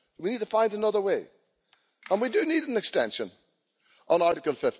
We need to find another way, and we do need an extension on Article